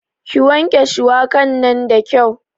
Ki wanke shuwaka nan da kyau